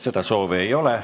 Seda soovi ei ole.